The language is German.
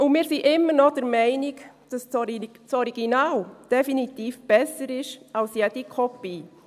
Und wir sind immer noch der Meinung, dass das Original definitiv besser ist als jede Kopie.